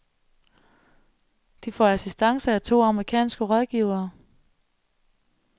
De får assistance af to amerikanske rådgivere.